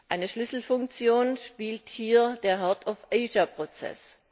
Eine Schlüsselfunktion spielt hier der Heart of Asia Prozess.